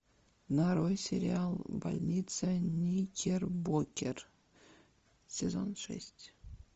нарой сериал больница никербокер сезон шесть